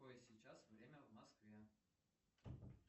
какое сейчас время в москве